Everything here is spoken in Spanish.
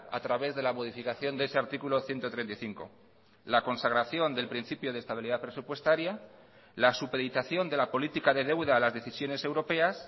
a través de la modificación de ese artículo ciento treinta y cinco la consagración del principio de estabilidad presupuestaria la supeditación de la política de deuda a las decisiones europeas